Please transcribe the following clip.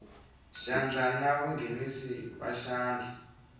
xandla na vanghenisi va xandla